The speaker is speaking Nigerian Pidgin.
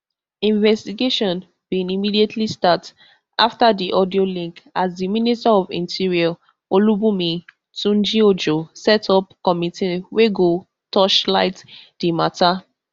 investigation bin immediately start afta di audio leak as di minister of interior olubunmi tunjiojo set up committee wey go torchlight di mata